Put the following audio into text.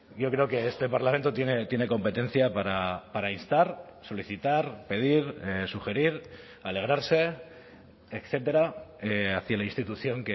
yo creo que este parlamento tiene competencia para instar solicitar pedir sugerir alegrarse etcétera hacia la institución